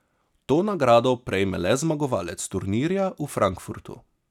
To nagrado prejme le zmagovalec turnirja v Frankfurtu.